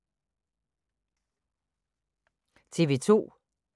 TV 2